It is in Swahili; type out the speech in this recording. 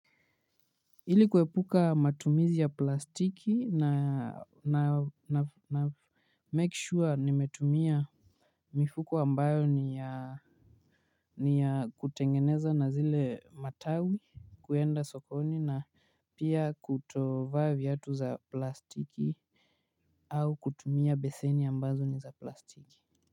Ili kuepuka matumizi ya plastiki na make sure nimetumia mifuko ambayo ni ya ni ya kutengeneza na zile matawi kuenda sokoni na pia kutovaa viatu za plastiki au kutumia beseni ambazo ni za plastiki.